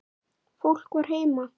Fólk var heima.